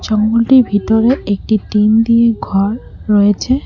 জঙ্গলটির ভিতরে একটি টিন দিয়ে ঘর রয়েছে।